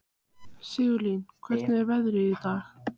Sigurlín, hvernig er veðrið í dag?